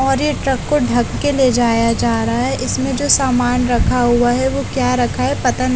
और ये ट्रक को ढक के ले जाया जा रहा है इसमें जो सामान रख रखा हुआ है वो क्या रखा है पता न--